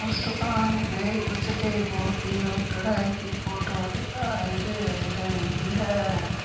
उस दुकान पे कुछ देवों की वो कढ़ाई की फोटो दिखाई दे रही है।